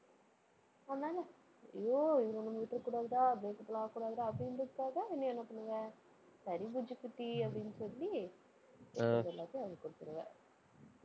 உன்னால ஐயோ, இதை நம்ம விட்டுறக்கூடாதுடா, breakup எல்லாம் ஆகக்கூடாதுடா, அப்படின்றதுக்காக நீ என்ன பண்ணுவ? சரி, புஜ்ஜி குட்டி அப்படின்னு சொல்லி, காச எல்லாத்தையும் அவ கிட்ட கொடுத்திருவ